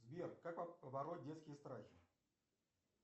сбер как побороть детские страхи